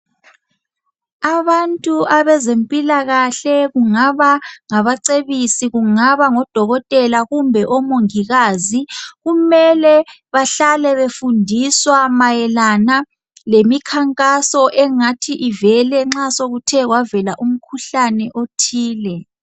abantu abezempilakahle kungaba ngabacebisi kungaba ngodokotela kumbe omongikazi kumele bahlale befundiswa mayelana lemikhankaso engathi ivele nxa sekuthe kwavela umkhuhlane othile